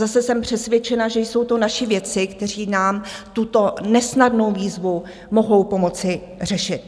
Zase jsem přesvědčena, že jsou to naši vědci, kteří nám tuto nesnadnou výzvu mohou pomoci řešit.